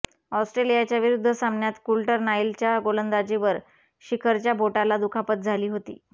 ऑस्ट्रेलियाच्या विरुद्ध सामन्यात कुल्टर नाईलच्या गोलंदाजीवर शिखरच्या बोटाला दुखापत झाली होती